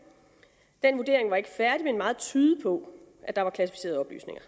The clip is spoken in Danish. den vurdering var ikke færdig men meget tydede på at der var klassificerede oplysninger